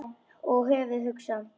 Og höfuðið hugsa?